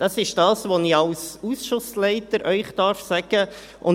Das ist das, was ich Ihnen als Ausschussleiter sagen darf.